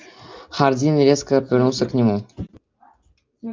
хардин резко повернулся к нему